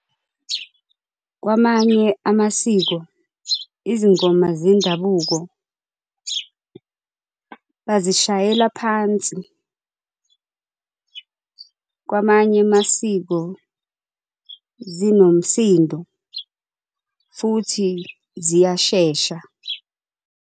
Kwamanye amasiko izingoma zendabuko bazishayela phansi, kwamanye amasiko zinomsindo futhi ziyashesha.